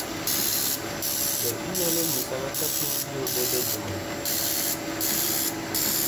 Be inyalo nyisa kaka piny biro bedo e juma ni